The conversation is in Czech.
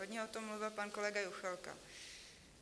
Hodně o tom mluvil pan kolega Juchelka.